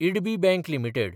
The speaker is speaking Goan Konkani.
IDBI bank limited